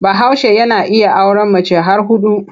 Bahaushe yana iya auren mace har huɗu.